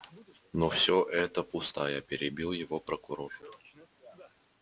но все это пустая перебил его прокурор